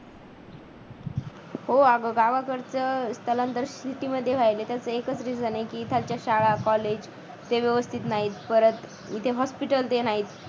हो अगं गावाकडचं स्थलांतर city मध्ये व्हायले त्याच एकच reason आहे की इथालच्या शाळा college ते व्यवस्थित नाहीत परत इति hospital ते नाहीत